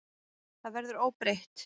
Það verður óbreytt.